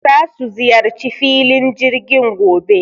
Za su ziyarci filin jirgin gobe